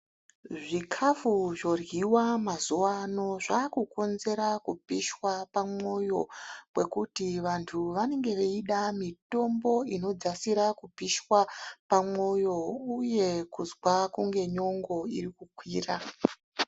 Zvikafu zvoryiwa mazuvano zvaakukonzera kupishwa pamwoyo kwekuti vantu vanenge veida mitombo inodzasira kupishwa pamwoyo uye kuzwa kunge nyongo irikukwira.